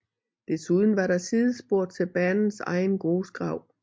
Desuden var der sidespor til banens egen grusgrav